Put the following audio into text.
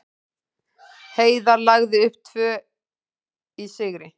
Heiðar lagði upp tvö í sigri